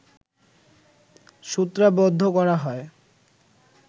সূত্রাবদ্ধ করা হয়